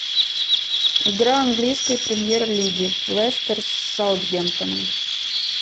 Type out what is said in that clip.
игра английской премьер лиги лестер с саутгемптоном